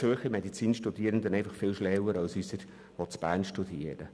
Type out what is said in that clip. Dann sind wohl die Studierenden in Zürich viel kompetenter als diese in Bern!